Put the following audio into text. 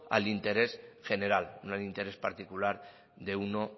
al interés general no al interés particular de uno